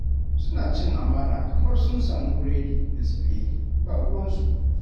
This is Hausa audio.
Suna cin amana kamar sun samu buredi da tsire, ba ruwansu.